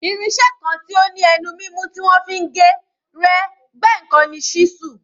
Irin-iṣẹ́ kan tí ó ní ẹnu mímú tí wọ́n fi ń gé, rẹ́, gbẹ́ nǹkan ni ṣísù.